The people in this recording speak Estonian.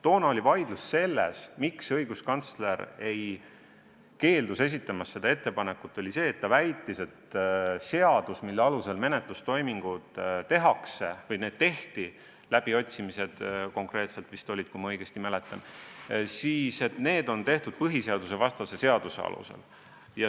Toona tekkis vaidlus sellest, et õiguskantsler keeldus seda ettepanekut esitamast, kuna ta väitis, et seadus, mille alusel menetlustoiminguid tehti – olid vist läbiotsimised, kui ma õigesti mäletan –, oli põhiseadusvastane seadus.